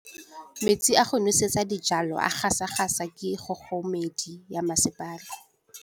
Metsi a go nosetsa dijalo a gasa gasa ke kgogomedi ya masepala.